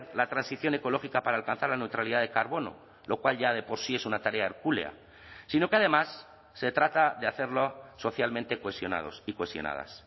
la transición ecológica para alcanzar la neutralidad de carbono lo cual ya de por sí es una tarea hercúlea sino que además se trata de hacerlo socialmente cohesionados y cohesionadas